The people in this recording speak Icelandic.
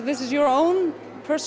við séum föst